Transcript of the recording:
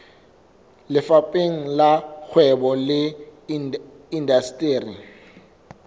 lefapheng la kgwebo le indasteri